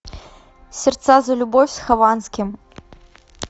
сердца за любовь с хованским